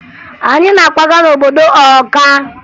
Anyị na-akwaga n'obodo Ọka